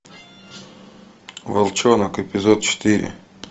волчонок эпизод четыре